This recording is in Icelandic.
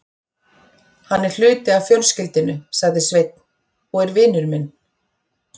Hann er hluti af fjölskyldunni, sagði Sveinn, og er vinur minn.